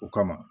O kama